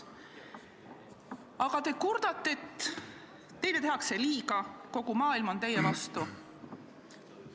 Aga te kurdate, et teile tehakse liiga, kogu maailm on teie vastu.